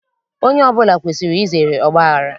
Onye ọbụla kwesiri izere ọgbaghara